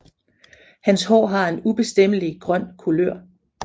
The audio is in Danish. Hans hår har en ubestemmelig grøn kulør